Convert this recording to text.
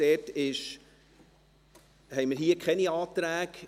Hier haben wir keine Anträge.